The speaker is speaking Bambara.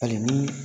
Hali ni